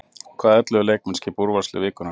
En hvaða ellefu leikmenn skipa úrvalslið vikunnar?